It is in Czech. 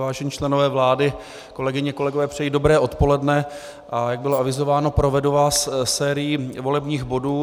Vážení členové vlády, kolegyně, kolegové, přeji dobré odpoledne, a jak bylo avizováno, provedu vás sérií volebních bodů.